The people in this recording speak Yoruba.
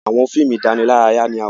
àwọn fíìmù idanilaraya ní a wọ.